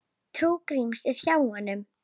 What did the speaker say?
Trú Gríms er hjá honum.